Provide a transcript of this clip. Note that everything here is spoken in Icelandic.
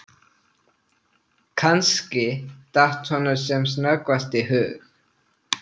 Kannski, datt honum sem snöggvast í hug